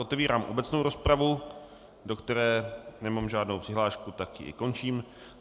Otevírám obecnou rozpravu, do které nemám žádnou přihlášku, tak ji i končím.